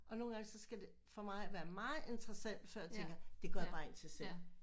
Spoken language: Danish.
Og nogle gange så skal det for mig være meget interessant før jeg tænker det går jeg bare ind til selv